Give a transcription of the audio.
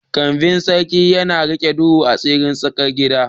Kambin Sarki yana riƙe duhun asirin tsararraki.